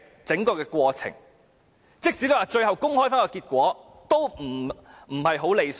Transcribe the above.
即使最後公布結果，也不太理想。